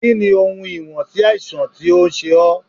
Kí ni ohun ìwọ̀n sí àìsàn tó ń ṣe ó?